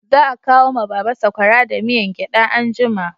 Za a kawo ma baba sakwara da miyan gyada anjima